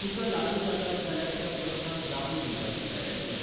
तुका लागू जातात जाल्यार त्या प्रस्नांक जापो दिवपाची तयारी कर.